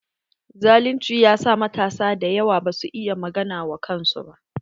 Zalunci ya sa matasa dayawa ba su iya magana wa kansu.